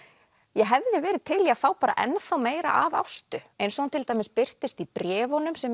ég hefði verið til í að fá bara ennþá meira af Ástu eins og hún til dæmis birtist í bréfunum sem